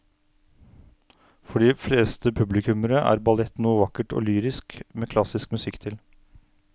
For de fleste publikummere er ballett noe vakkert og lyrisk med klassisk musikk til.